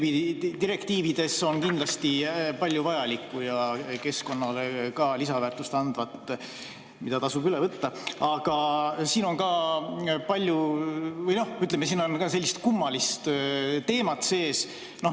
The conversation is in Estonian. Nendes direktiivides on kindlasti palju vajalikku ja keskkonnale ka lisaväärtust andvat, mida tasub üle võtta, aga siin on ka, ütleme, sellist kummalist teemat sees.